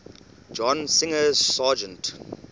john singer sargent